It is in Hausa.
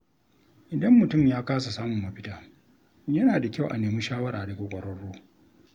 Idan mutum ya kasa samun mafita, yana da kyau a nemi shawara daga ƙwararru.